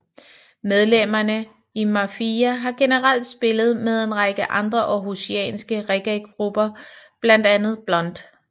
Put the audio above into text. Medlemmerne i Mafijah har generelt spillet med en række andre århusianske reggaegrupper blandt andet Blunt